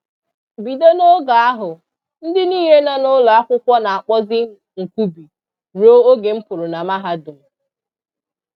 Bido n'oge ahụ, ndị niile nọ n'ụlọakwụkwọ na-akpọzi m Nkubi rue oge m pụrụ na mahadum.